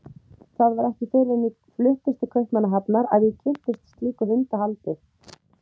Það var ekki fyrr en ég fluttist til Kaupmannahafnar að ég kynntist slíku hundahaldi.